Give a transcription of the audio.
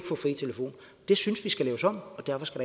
få fri telefon det synes vi skal laves om og derfor skal